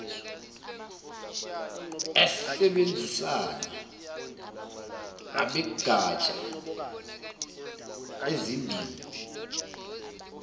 besebenzisana nabegatsha lezimbiwa